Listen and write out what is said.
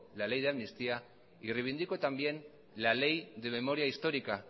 la ley de amnistía y reivindico también la ley de memoria histórica